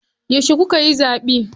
Yauce kukayi zaɓe?